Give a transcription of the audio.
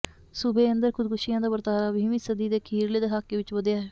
ਸੂਬੇ ਅੰਦਰ ਖ਼ੁਦਕੁਸ਼ੀਆਂ ਦਾ ਵਰਤਾਰਾ ਵੀਹਵੀਂ ਸਦੀ ਦੇ ਅਖ਼ੀਰਲੇ ਦਹਾਕੇ ਵਿੱਚ ਵਧਿਆ ਹੈ